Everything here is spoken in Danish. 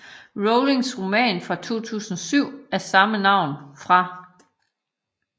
Rowlings roman fra 2007 af samme navn fra